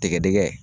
Tɛgɛdɛgɛ